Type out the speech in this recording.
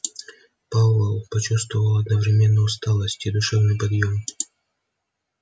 пауэлл почувствовал одновременно усталость и душевный подъем